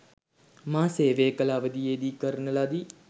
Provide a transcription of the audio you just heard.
මා සේවය කළ අවධියේදී කරන ලදී.